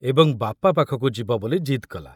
ଏବଂ ବାପା ପାଖକୁ ଯିବ ବୋଲି ଜିଦ କଲା।